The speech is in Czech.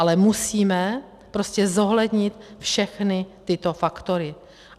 Ale musíme prostě zohlednit všechny tyto faktory.